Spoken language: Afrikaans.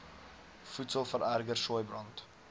voedsel vererger sooibrand